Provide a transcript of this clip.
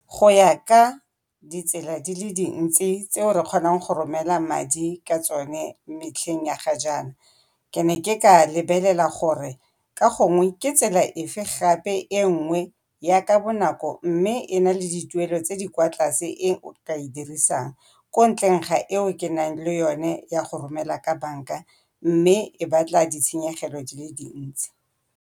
Go ya ka ditsela di le dintsi tseo re kgonang go romela madi ka tsone metlheng ya ga jaana, ke ne ke ka lebelela gore ka gongwe ke tsela efe gape e nngwe ya ka bonako mme e na le dituelo tse di kwa tlase e o ka e dirisang ko ntleng ga eo ke nang le yone ya go romela ka banka mme e batla ditshenyegelo di le dintsi.